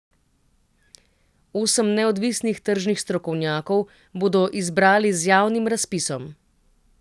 Osem neodvisnih tržnih strokovnjakov bodo izbrali z javnim razpisom.